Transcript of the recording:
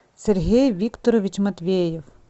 сергей викторович матвеев